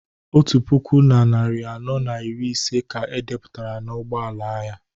otu puku na narị anọ na iri ise ka e depụtara n'ụgbọ ala ya